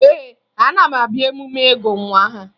Ee, ana m abịa emume ịgụ nwa aha